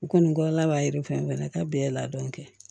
U kɔni la b'a yiri fɛn fɛn ka bɛn ladɔn kɛ